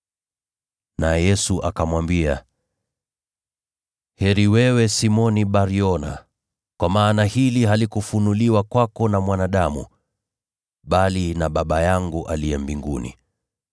Naye Yesu akamwambia, “Heri wewe, Simoni Bar-Yona, kwa maana hili halikufunuliwa kwako na mwanadamu, bali na Baba yangu aliye mbinguni.